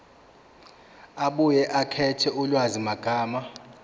abuye akhethe ulwazimagama